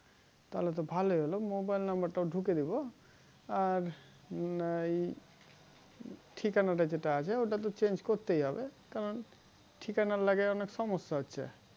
তহলে তো ভালোই হলো mobile number টাও ঢুকিয়ে দিবো আর ঠিকানাটা যেটা আছে ওটাতো change করতেই হবে কারণ ঠিকানার লেগে অনেক সমস্যা হচ্ছে